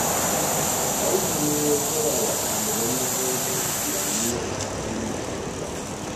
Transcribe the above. Audu ne ya saya wa ɗaliban makarantar islamiyyar takalma kyauta